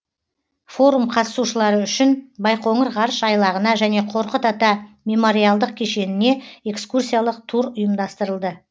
форум қатысушылары үшін байқоңыр ғарыш айлағына және қорқыт ата мемориалдық кешеніне экскурсиялық тур ұйымдастырылды